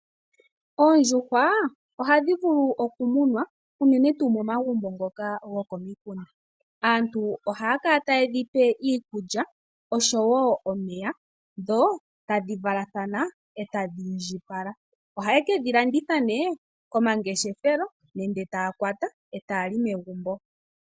Oondjuhwa ohadhi vulu okumunwa unene tuu momagumbo ngoka go komikunda. Aantu ohaya kala taye dhipe iikulya oshowo omeya dho tadhi valathana e tadhi indjipala. Ohaye ke dhi landitha nee komangeshefelo nenge taya kwata etaya li megumbo.